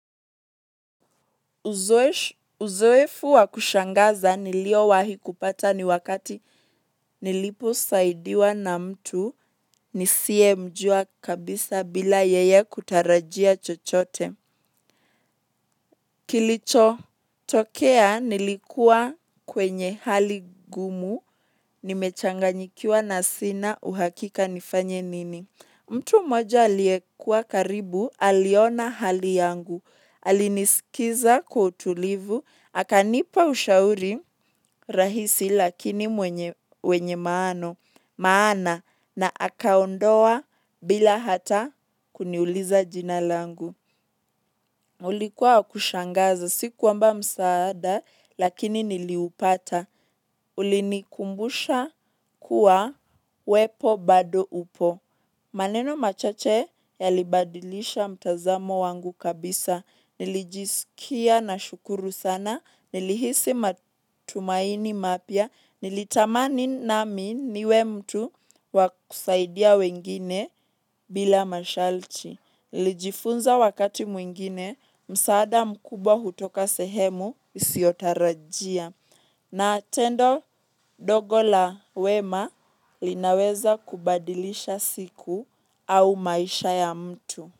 Uzoefu wa kushangaza niliowahi kupata ni wakati niliposaidiwa na mtu nisiyemjua kabisa bila yeye kutarajia chochote. Kilichotokea nilikua kwenye hali ngumu nimechanganikiwa na sina uhakika nifanye nini. Mtu moja aliyekua karibu, aliona hali yangu. Alinisikiza kwa utulivu, akanipa ushauri rahisi lakini wenye maana. Maana na akaondoka bila hata kuniuliza jina langu ulikuwa kushangaza, si kwamba msaada, lakini niliupata. Ulinikumbusha kuwa uwepo bado upo. Maneno machache yalibadilisha mtazamo wangu kabisa. Nilijisikia nashukuru sana. Nilihisi matumaini mapia. Nilitamani nami niwe mtu wakusaidia wengine bila masharti. Nilijifunza wakati mwingine msaada mkubwa hutoka sehemu usiotarajia na tendo ndogo la wema linaweza kubadilisha siku au maisha ya mtu.